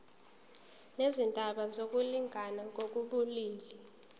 nezindaba zokulingana ngokobulili